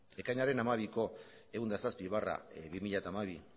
ekainaren hamabiko ehun eta zazpi barra bi mila hamabi